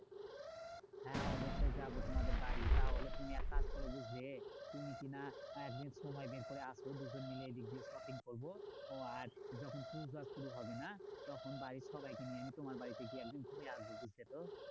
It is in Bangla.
হ্যাঁ অবশ্যই যাবো তোমাদের বাড়ি। তাহলে তুমি এক কাজ করো বুঝলে? তুমি কি না একদিন সময় বের করে আসো দুজন মিলে এই দিক দিয়ে shopping করবো। ও আর যখন পুজো শুরু হবে না? তখন বাড়ির সবাইকে নিয়ে আমি তোমার বাড়িতে গিয়ে একদিন ঘুরে আসবো, বুঝলে তো?